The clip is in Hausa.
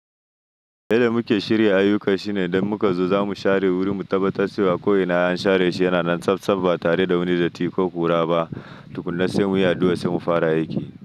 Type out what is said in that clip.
Yanda muke shirya ayyuka shine idan muka zo za mu share wuri mu tabbatar cewa ko'ina an share shi yana nan tsabtsab ba tare da wani datti ko hura ba. Tukunna sai mu yi addu'a sai mu fara aiki.